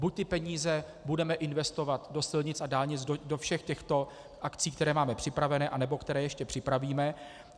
Buď ty peníze budeme investovat do silnic a dálnic, do všech těchto akcí, které máme připravené nebo které ještě připravíme.